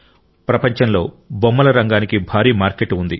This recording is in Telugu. ప్రపంచంలో బొమ్మల రంగానికి భారీ మార్కెట్ ఉంది